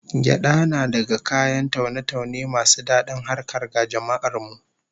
Gyada na daga kayan taune-taune masu dadin harkar ga jama'ar mu